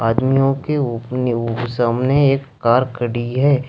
आदमियों के सामने एक कार खड़ी है।